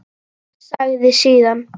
Sagði síðan: